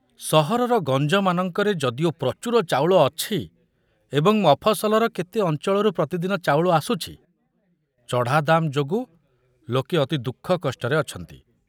ସହରର ଗଞ୍ଜମାନଙ୍କରେ ଯଦିଓ ପ୍ରଚୁର ଚାଉଳ ଅଛି ଏବଂ ମଫସଲର କେତେ ଅଞ୍ଚଳରୁ ପ୍ରତିଦିନ ଚାଉଳ ଆସୁଛି, ଚଢ଼ା ଦାମ ଯୋଗୁ ଲୋକେ ଅତି ଦୁଃଖକଷ୍ଟରେ ଅଛନ୍ତି।